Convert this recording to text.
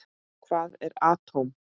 Hvað er atóm?